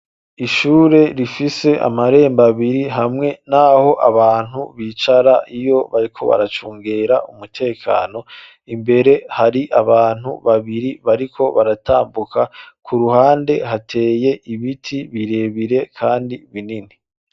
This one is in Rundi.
Ishure rifise amarembo abiri hamwe n'aho abantu bicara iyo bariko baracungera umutekano, imbere hari abantu babiri bariko baratambuka, ku ruhande hateye ibiti birebire kandi binini.